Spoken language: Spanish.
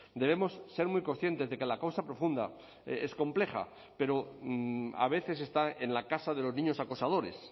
debemos ser muy conscientes de que la causa profunda es compleja pero a veces está en la casa de los niños acosadores